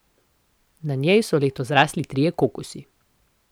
Na njej so letos zrasli trije kokosi.